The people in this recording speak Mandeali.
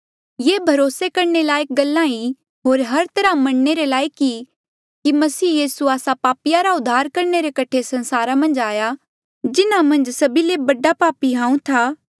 ये भरोसे करणे रे लायक गल्ला ई होर हर तरहा मन्नणे रे लायक ई कि मसीह यीसू आस्सा पापिया रा उद्धार करणे रे कठे संसारा मन्झ आया जिन्हा मन्झ सभी ले बडा पापी हांऊँ था